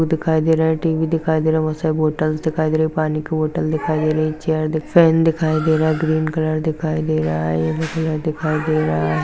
दिखाई दे रहा टी_वी दिखाई दे रहा बहुत सारे बॉटल्स दिखाई दे रहे पानी बोटल दिखाई दे रही चेयर दिखाई दे रही फैन दिखाई दे रहा ग्रीन कलर दिखाई दे रहा येल्लो कलर दिखाई दे रहा है।